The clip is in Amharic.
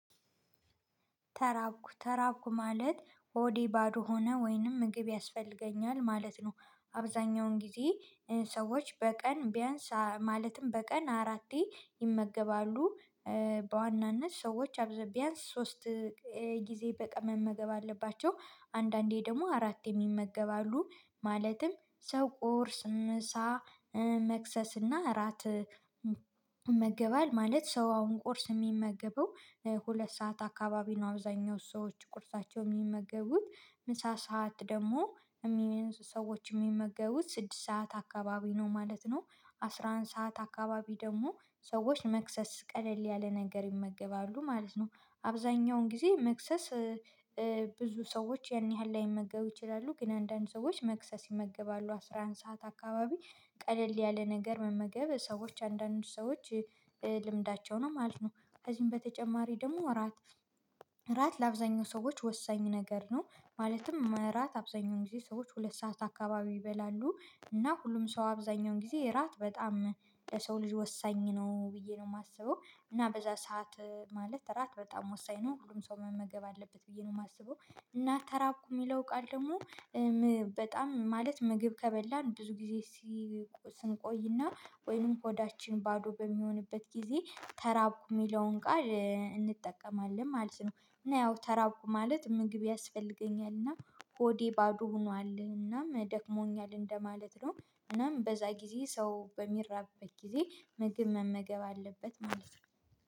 ተራብኩ ተራብኩ ማለት ሆዴ ባዶ ሆነ ወይንም ምግብ ያስፈልገኛል ማለት ነው። አብዛኛውን ጊዜ ሰዎች በቀን ቢያንስ ማለትም በቀን አራቴ ይመገባሉ። በዋናነት ሰዎች አብዛ ቢያንስ ሶስት ጊዜ በቀን መመገብ አለባቸው። አንዳንዴ ደግሞ አራት የሚመገባሉ ማለትም ሰው ቁርስ ምሳ መክሰስ እና እራት ይመገባል። ማለት ሰው አሁን ቁርስ የሚመገበው ሁለት ሰዓት አካባቢ ነው። አብዛኛው ሰዎች ቁርሳቸው የሚመገቡት ምሳ ሰዓት ደግሞ የሚ ሰዎች የሚመገቡት ስድስት ሰዓት አካባቢ ነው ማለት ነው። አስራ አንድ ሰዓት አካባቢ ደግሞ ሰዎች መክሰስ ቀለል ያለ ነገር ይመገባሉ ማለት ነው። አብዛኛውን ጊዜ መክሰስ ብዙ ሰዎች ያን ያህል ላይመገብ ይችላሉ። ግን አንዳንድ ሰዎች መክሰስ ይመገባሉ አስራ አንድ ሰዓት አካባቢ ቀለል ያለ ነገር መመገብ ሰዎች አንዳንድ ሰዎች ልምዳቸው ነው ማለት ነው። ከዚህም በተጨማሪ ደግሞ እራት ለአብዛኛው ሰዎች ወሳኝ ነገር ነው። ማለትም እረት አብዛኛውን ጊዜ ሰዎች ሁለት ሰዓት አካባቢ ይበላሉ እና ሁሉም ሰው አብዛኛውን ጊዜ እራት በጣም ለሰው ልጅ ወሳኝ ነው ብዬ ነው የማስበው። እና በዚያ ሰዓት ማለት እራት በጣም ወሳኝ ነው ሁሉም ሰው መመገብ አለበት ብዬ ነው የማስበው። እና ተራብኩ የሚለው ቃል ደግሞ በጣም ማለት ምግብ ከበላን ብዙ ጊዜ ስንቆይና ወይንም ሆዳችን ባዶ በሚሆንበት ጊዜ ተራብኩ የሚለውን ቃል እንጠቀማለን ማለት ነው። እና ያው ተራብኩ ማለት ምግብ ያስፈልገኛል እና ሆዴ ባዶ ሆኗል እና ደክሞኛል እንደማለት ነው። እናም በዚያ ጊዜ ሰው በሚራብበት ጊዜ ምግብ መመገብ አለበት ማለት ነው።